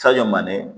Sanɲɔ man ne